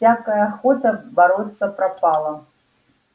всякая охота бороться пропала